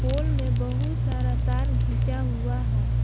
पुल में बहुत सारा तार घिंचा हुआ है।